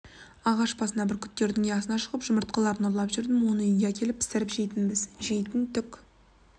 ағаш басына бүркіттердің ұясына шығып жұмыртқаларын ұрлап жүрдім оны үйге әкеліп пісіріп жейтінбіз жейтін түк